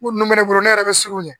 Ko nun bɛ ne bolo ne yɛrɛ bɛ siran o ɲɛ